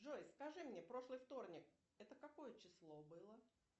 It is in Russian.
джой скажи мне прошлый вторник это какое число было